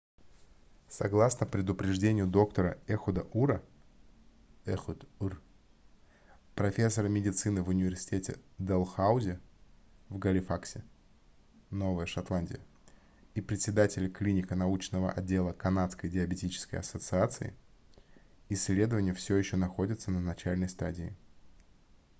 согласно предупреждению доктора эхуда ура ehud ur профессора медицины в университете дэлхаузи в галифаксе новая шотландия и председателя клинико-научного отдела канадской диабетической ассоциации исследования все еще находятся на начальной стадии